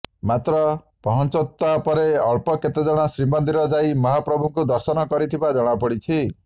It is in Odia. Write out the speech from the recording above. ମାତ୍ର ପହଞ୍ଚତ୍ବା ପରେ ଅଳ୍ପ କେତେଜଣ ଶ୍ରୀମନ୍ଦିର ଯାଇ ମହାପ୍ରଭୁଙ୍କୁ ଦର୍ଶନ କରିଥିବା ଜଣାପଡିଛି